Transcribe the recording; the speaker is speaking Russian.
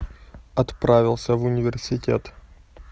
отправился в университет